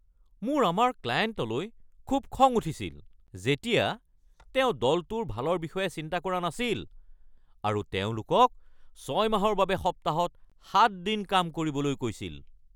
মোৰ আমাৰ ক্লায়েণ্টলৈ খুব খং উঠিছিল যেতিয়া তেওঁ দলটোৰ ভালৰ বিষয়ে চিন্তা কৰা নাছিল আৰু তেওঁলোকক ৬ মাহৰ বাবে সপ্তাহত ৭ দিন কাম কৰিবলৈ কৈছিল।